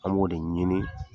An b'o de ɲinin